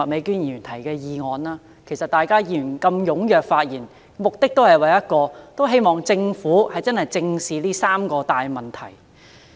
議員如此踴躍發言，目的只有一個，便是希望政府能認真正視這三大問題。